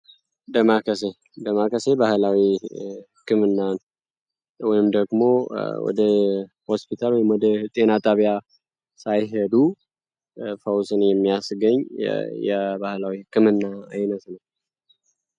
ዳማከሴ ባህላዊ ክምናን ወይም ደግሞ ወደ ሆስፒታል የመደህ ጤና ጣቢያ ሳይሄዱ ፈውስን የሚያስገኝ የባህላዊ ክምና አይነት ነው።